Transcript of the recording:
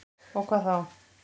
Og hvað þá?